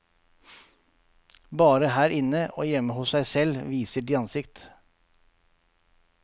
Bare her inne, og hjemme hos seg selv, viser de ansiktet.